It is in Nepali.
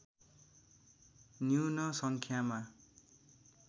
न्यून सङ्ख्यामा